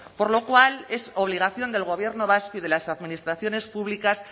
por lo cual es obligación del gobierno vasco y de las administraciones públicas